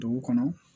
Dugu kɔnɔ